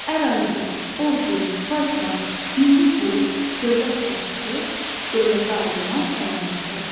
Ərazi, ordu, paytaxt, milli pul, dövlət başçısı, dövlətə aid olan əlamətlərdir.